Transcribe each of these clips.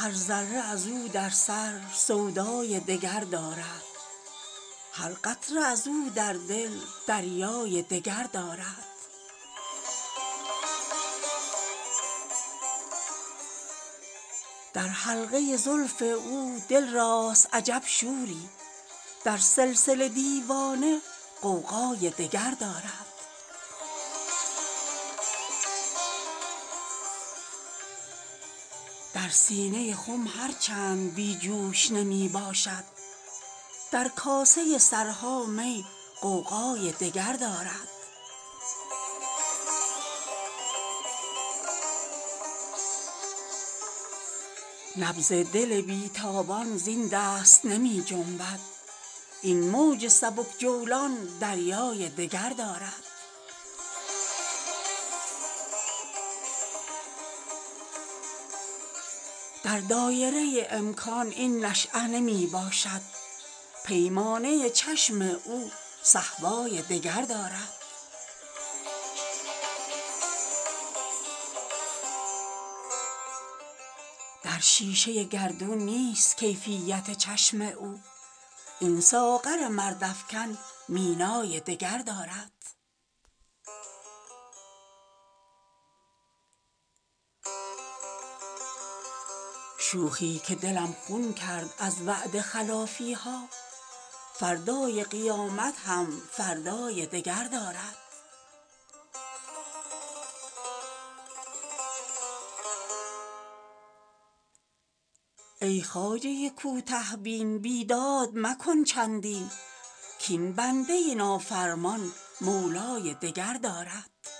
هر ذره ازو در سر سودای دگر دارد هر قطره ازودردل دریای دگردارد از مصحف روی او دارد سبقی هر کس در هر نظر آن عارض سیمای دگر دارد در سایه هر خاری زین وادی بی پایان آن لیلی بی پروا شیدای دگردارد در ابر فروغ مه پوشیده نمی ماند آن را که تویی در دل سیمای دگردارد هر چند علم رعناست در معرکه هستی آن کز سر جان خیزد بالای دگردارد نبض دل بیتابان زین دست نمی جنبد این موج سبک جولان دریای دگردارد در دایره امکان این نشأه نمی باشد پیمانه چشم او صهبای دگردارد در شیشه گردون نیست کیفیت چشم او این ساغر مرد افکن مینای دگردارد شوخی که دلم خون کرد از وعده خلافیها فردای قیامت هم فردای دگردارد از شهد سخن هر کس شیرین نکند لب را در طبله خاموشی حلوای دگردارد چشمی که شود گریان از پرتو خورشیدش در هر گره قطره دریای دگردارد افتاده به جاهرچند در کنج دهن خالش برطرف بناگوشش خط جای دگردارد چون سیر کسی بیند رویش که زهر جانب از خال وخط مشکین لالای دگردارد گر نیست بجا عذرش بر جاست ز بی جایی بیرون ز دو عالم دل مأوای دگردارد زنهار مجو راحت از عالم آب وگل کاین آهوی رم کرده صحرای دگردارد در حلقه زلف او دل راست عجب شوری در سلسله دیوانه غوغای دگردارد از مستی شوق او در راه طلب عاشق لغزید اگر پایش صد پای دگردارد زین غمکده چون هرگز بیرون نگذارد پا غیر از دل ما دلبر گر جای دگردارد سیمرغ به چشم ما از پشه بود کمتر در مد نظر این دام عنقای دگردارد هر چند به شبنم گل شوید رخ گلگون را رخسار به خون شسته سیمای دگردارد در سینه خم هر چند بی جوش نمی باشد در کاسه سرها می غوغای دگردارد ای خواجه کوته بین بیداد مکن چندی کاین بنده نافرمان مولای دگردارد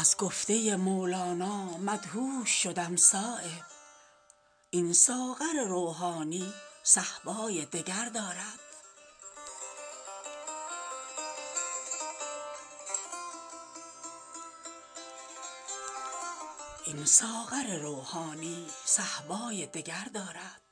از گفته مولانا مدهوش شدم صایب این ساغر روحانی صهبای دگر دارد